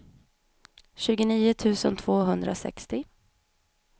tjugonio tusen tvåhundrasextio